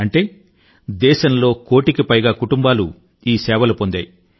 అంటే దేశంలో కోటికి పైగా కుటుంబాలు ఈ సేవలు పొందాయి